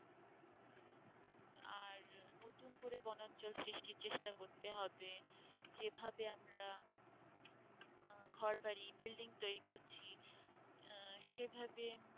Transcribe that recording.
দুম করে বনাঞ্চল সৃষ্টির চেষ্টা করতে হবে যে ভাবে আমরা ঘর বাড়ি building তৈরী করছি সেভাবে